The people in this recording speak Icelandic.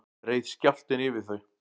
reið skjálftinn yfir þau